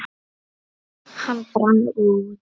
Hann brann út.